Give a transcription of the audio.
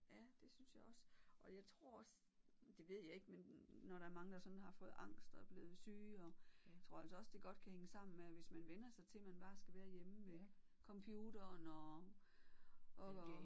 Ja det synes jeg også og jeg tror også det ved jeg ikke men når der er mange der sådan har fået angst og er blevet syge og jeg tror altså også det godt kan hænge sammen med at hvis man vænner sig til at man bare skal være hjemme ved computeren og og